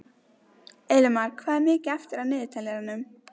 Elimar, hvað er mikið eftir af niðurteljaranum?